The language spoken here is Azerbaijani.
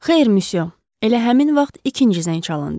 Xeyr, misyo, elə həmin vaxt ikinci zəng çalındı.